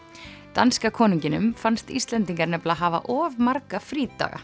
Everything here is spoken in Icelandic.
danska konunginum fannst Íslendingar nefnilega hafa of marga frídaga